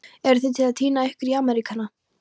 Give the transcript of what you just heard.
Eruð þið að týna ykkur í Ameríkana?